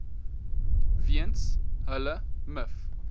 weens hulle miv